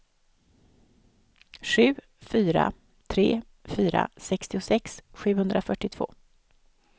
sju fyra tre fyra sextiosex sjuhundrafyrtiotvå